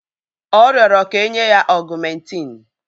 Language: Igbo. Ọ rịọrọ kà enye ya ọ̀gụ́mèntin